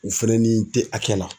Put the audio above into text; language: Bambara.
U fɛnɛ ni tɛ hakɛ la